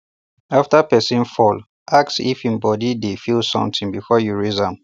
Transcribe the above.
after person fall ask if hin body dey feel something before you raise am